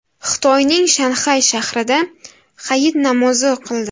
Xitoyning Shanxay shahrida hayit namozi o‘qildi .